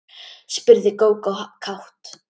spurði Gógó kát.